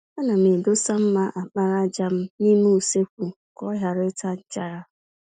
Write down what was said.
Ana m edosa mma àkpàràjà m n'ime usekwu ka ọ ghara ịta nchara.